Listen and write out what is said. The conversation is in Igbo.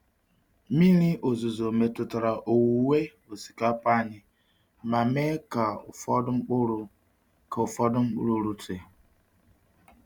Mmiri ozuzo metụtara owuwe osikapa anyị ma mee ka ụfọdụ mkpụrụ ka ụfọdụ mkpụrụ rute.